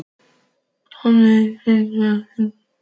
Jóhanns, annars vegar og Hjördísar hins vegar.